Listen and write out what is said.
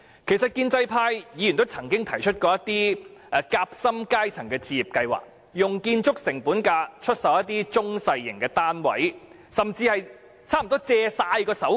建制派議員曾經提出一些夾心階層置業計劃，建議用建築成本價出售一些中小型單位，甚至貸款予申請者用作支付首期。